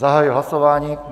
Zahajuji hlasování.